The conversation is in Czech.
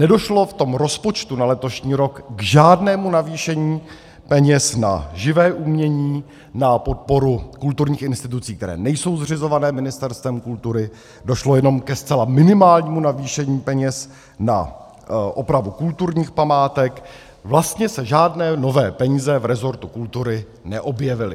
Nedošlo v tom rozpočtu na letošní rok k žádnému navýšení peněz na živé umění, na podporu kulturních institucí, které nejsou zřizovány Ministerstvem kultury, došlo jenom ke zcela minimálnímu navýšení peněz na opravu kulturních památek, vlastně se žádné nové peníze v rezortu kultury neobjevily.